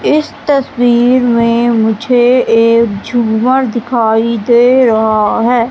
इस तस्वीर में मुझे एक झूमर दिखाई दे रहा है।